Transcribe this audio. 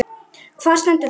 Hvar stendur þetta?